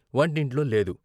వంటింట్లో లేదు.